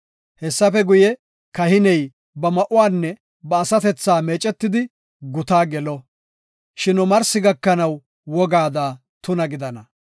Hessafe guye, kahiney ba ma7uwanne ba asatethaa meecetidi gutaa gelo; shin omarsi gakanaw wogaada tuna gidana.